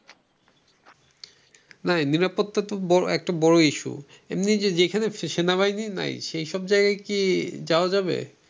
না নিরাপত্তা তো একটা বড় issue এমনি যে যেখানে সেনাবাহিনী নাই সেই সব জায়গায় কি যাওয়া যাবে?